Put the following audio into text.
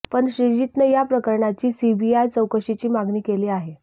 पण श्रीजीतनं या प्रकरणाची सीबीआय चौकशीची मागणी केली आहे